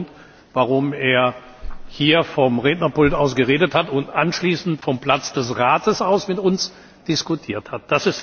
ist. Das war der Grund, warum er hier vom Rednerpult aus geredet hat und anschließend vom Platz des Rates aus mit uns diskutiert